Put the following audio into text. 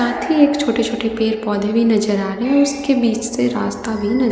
साथ ही एक छोटे-छोटे पेड़ पौधे भी नजर आ रहे हैं उसके बीच से रास्ता भी न --